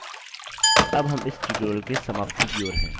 अब हम इस tutorial की समाप्ति की ओर हैं